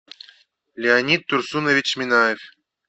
леонид турсунович минаев